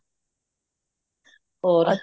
ਔਰ